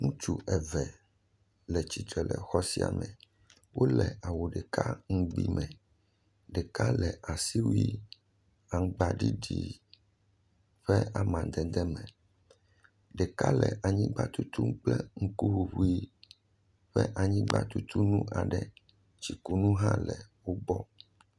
Ŋutsu eve le tsitre le xɔ siame, wole awu ɖeka ŋugbi me, ɖeka le asiwui aŋgba ɖiɖi ƒe amadede me, ɖeka le anyigba tutum kple ŋuku ʋuʋui ƒe anyigba tutu nu aɖe, tsi ku nu hã le wo gbɔ.